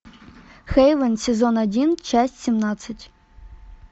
хейвен сезон один часть семнадцать